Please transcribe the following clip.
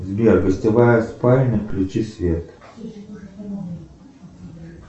сбер гостевая спальня включи свет